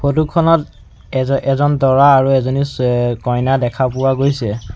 Photo খনত এজ এজন দৰা আৰু এজনী অ কইনা দেখা পোৱা গৈছে।